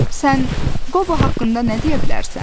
Sən Qobo haqqında nə deyə bilərsən?